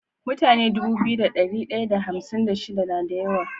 Mutane Dubu biyu da dari daya da hamsin da shida nada yawa